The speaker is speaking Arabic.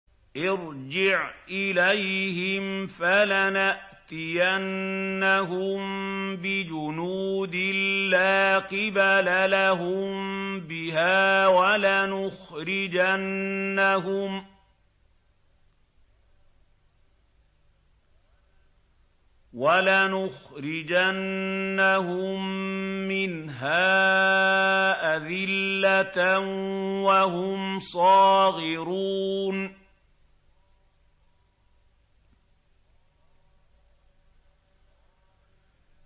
ارْجِعْ إِلَيْهِمْ فَلَنَأْتِيَنَّهُم بِجُنُودٍ لَّا قِبَلَ لَهُم بِهَا وَلَنُخْرِجَنَّهُم مِّنْهَا أَذِلَّةً وَهُمْ صَاغِرُونَ